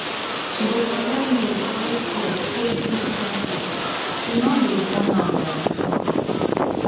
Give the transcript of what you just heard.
she dey collect leaves wey fall take do compost she no dey burn am like before